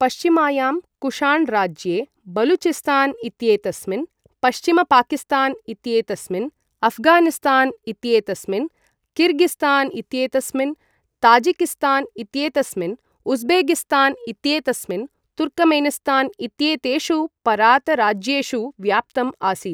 पश्चिमायां कुषाण् राज्ये बलूचिस्तान् इत्येतस्मिन्, पश्चिमपाकिस्तान् इत्येतस्मिन्, अफ़गानिस्तान् इत्येतस्मिन्, किर्गिस्तान् इत्येतस्मिन्, ताजिकिस्तान् इत्येतस्मिन्, उज़्बेकिस्तान् इत्येतस्मिन् तुर्कमेनिस्तान् इत्येतेषु पारत राज्येषु व्याप्तम् आसीत्।